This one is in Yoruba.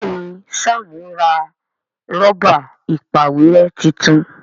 Béèni Sam ra Rọ́bà ìpàwérẹ́ títún.